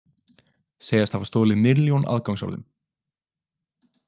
Segjast hafa stolið milljón aðgangsorðum